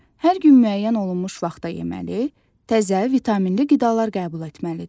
Hər gün müəyyən olunmuş vaxtda yeməli, təzə, vitaminli qidalar qəbul etməlidir.